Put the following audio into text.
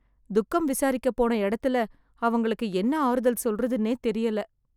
துக்கம் விசாரிக்க போன இடத்துல , அவங்களுக்கு என்ன ஆறுதல் சொல்றதுன்னே தெரியல.